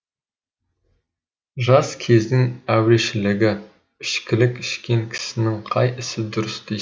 жас кездің әурешілігі ішкілік ішкен кісінің қай ісі дұрыс дейсің